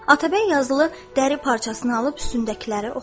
Atabəy yazılı dəri parçasını alıb üstündəkiləri oxudu.